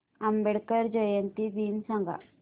आंबेडकर जयंती दिन सांग